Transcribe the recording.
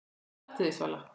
Stattu þig, Svala